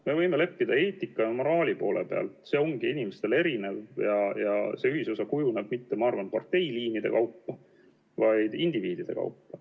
Me võime leppida eetika ja moraali poole pealt, see ongi inimestel erinev ja see ühisosa kujuneb mitte, ma arvan, parteiliinide kaupa, vaid indiviidide kaupa.